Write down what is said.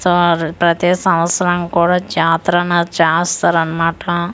So ప్రతి సంవత్సరం కూడా జాతరనేది చాస్తారనమాట.